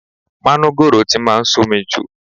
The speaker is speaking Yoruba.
Manugoro ti máa ń somi jù.